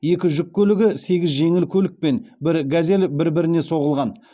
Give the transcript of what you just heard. екі жүк көлігі сегіз жеңіл көлік пен бір газель бір біріне соғылған